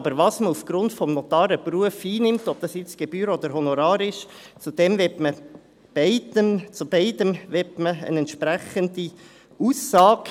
Aber was man aufgrund des Notarenberufs einnimmt, ob dies nun Gebühren oder Honorare sind, zu beidem möchte man eine entsprechende Aussage.